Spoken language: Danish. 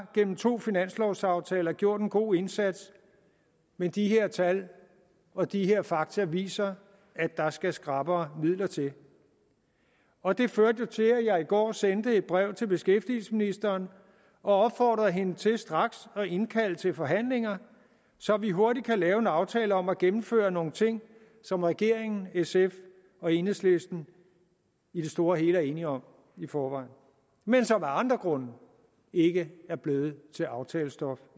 gennem to finanslovsaftaler gjort en god indsats men de her tal og de her fakta viser at der skal skrappere midler til og det førte jo til at jeg i går sendte et brev til beskæftigelsesministeren og opfordrede hende til straks at indkalde til forhandlinger så vi hurtigt kan lave en aftale om at gennemføre nogle ting som regeringen sf og enhedslisten i det store og hele er enige om i forvejen men som af andre grunde ikke er blevet til aftalestof